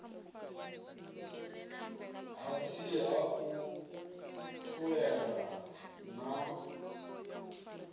hatsi ha u fulela na